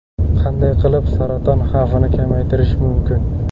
Qanday qilib saraton xavfini kamaytirish mumkin?